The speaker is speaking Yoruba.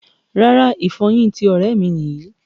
Rárá, ìfọyín tí ọrẹ mí níyì